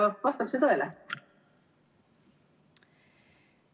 Vastab see tõele?